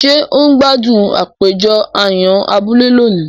Ṣe o n gbádùn àpéjọ àyàn abúlé lóni?